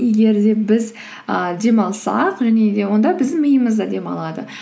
егер де біз і демалсақ және де онда біздің миымыз да демалады